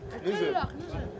Nüzül!